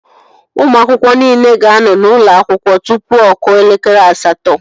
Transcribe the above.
Ụmụ akwụkwọ niile ga-anọ n'ụlọ akwụkwọ tụpụ ọ kụọ elekere asatọ